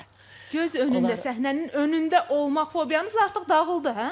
Göz önündə, səhnənin önündə olmaq fobiyanız artıq dağıldı, hə?